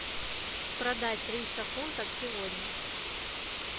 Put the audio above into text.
продать триста фунтов сегодня